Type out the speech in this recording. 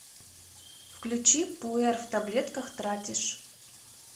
включи пуэр в таблетках тратишь